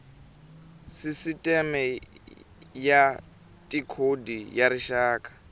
sisiteme ya tikhodi ya rixaka